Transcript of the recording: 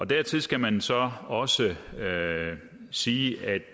dertil skal man så også sige at